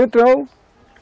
Entrou.